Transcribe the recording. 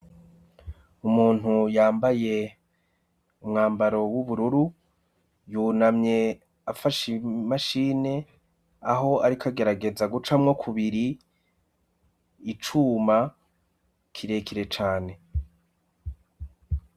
Umuntu yambaye umwambaro w'ubururu, yunamye afashe imashine, aho ariko agerageza gucamwo kubiri icuma kirekire cane.